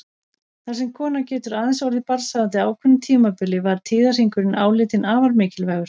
Þar sem konan getur aðeins orðið barnshafandi á ákveðnu tímabili var tíðahringurinn álitinn afar mikilvægur.